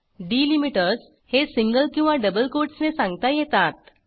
delimiters हे single किंवा double कोटसने सांगता येतात